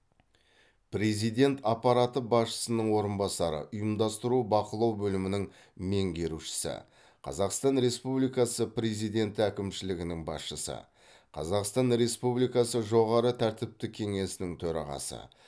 президент аппараты басшысының орынбасары ұйымдастыру бақылау бөлімінің меңгерушісі қазақстан республикасы президенті әкімшілігінің басшысы қазақстан республикасы жоғары тәртіптік кеңесінің төрағасы